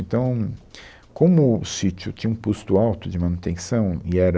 Então, como o sítio tinha um custo alto de manutenção e era